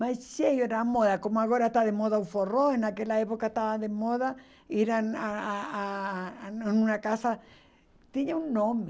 Mas cheio era moda, como agora está de moda o forró, naquela época estava de moda ir ah a a a uma casa, tinha um nome.